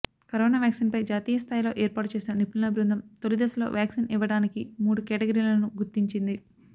corona వ్యాక్సిన్పై జాతీయ స్థాయిలో ఏర్పాటు చేసిన నిపుణుల బృందం తొలి దశలో వ్యాక్సిన్ ఇవ్వటానికి మూడు కేటగిరీలను గుర్తించింది